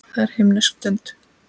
Það er himnesk stund.